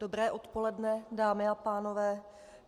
Dobré odpoledne, dámy a pánové.